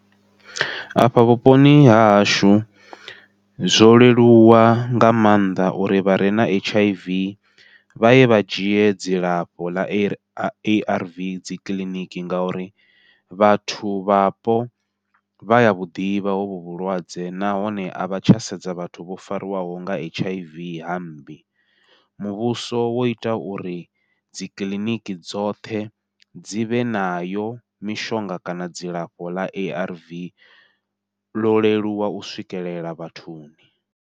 Afha vhuponi hahashu zwo leluwa nga maanḓa uri vhare na H_I_V vha ye vha dzhie dzilafho ḽa A_R_V dzikiḽiniki, ngauri vhathu vhapo vhaya vhuḓivha hovhu vhulwadze nahone a vha tsha sedza vhathu vho fariwaho nga H_I_V hammbi muvhuso wo ita uri dzikiḽiniki dzoṱhe dzivhe nayo mishonga kana dzilafho ḽa ARV ḽo leluwa u swikelela vhathuni.